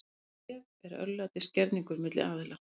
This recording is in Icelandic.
Gjöf er örlætisgerningur milli aðila.